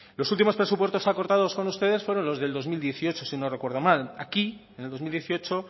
los últimos presupuestos acordados con ustedes fueron los del dos mil dieciocho si no recuerdo mal aquí en el dos mil dieciocho